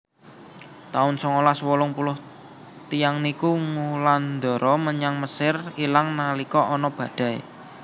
taun songolas wolung puluh tiyang niku ngulandara menyang Mesir ilang nalika ana badai